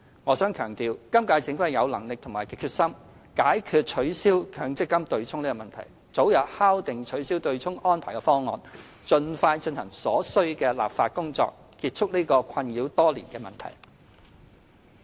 我想強調，今屆政府既有能力也有決心，解決取消強積金"對沖"的問題，早日敲定取消"對沖"安排的方案，盡快進行所需的立法工作，結束這個已困擾多年的問題。